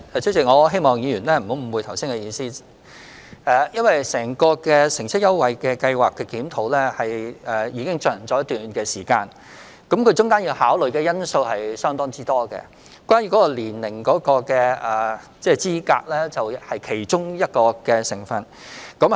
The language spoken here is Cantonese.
主席，我希望議員不要誤會我的意思，因為乘車優惠計劃的檢討已進行一段時間，其間要考慮的因素相當多，而年齡資格是其中一個因素。